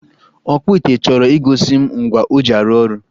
ọkpụ ite chọrọ igosi m ngwa o ji arụ ọrụ